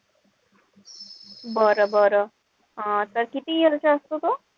बरं-बरं. अं त किती years चा असतो तो?